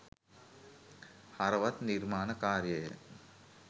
හරවත් නිර්මාණ කාර්යය